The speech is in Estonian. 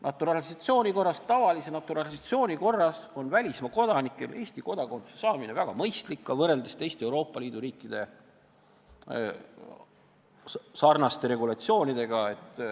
Naturalisatsiooni, tavalise naturalisatsiooni korras on välismaa kodanikel Eesti kodakondsuse saamine väga mõistlik ka võrreldes teiste Euroopa Liidu riikide sarnaste regulatsioonidega.